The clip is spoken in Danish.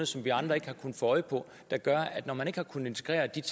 som vi andre ikke har kunnet få øje på der gør at når man ikke har kunnet integrere det